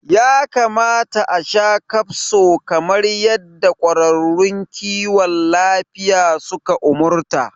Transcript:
Ya kamata asha kafso kamar yadda ƙwararrun kiwon lafiya suka umarta